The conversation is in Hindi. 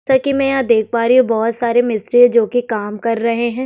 जैसा की मै देख पा बोहोत सारे मिस्त्री काम कर रहे है।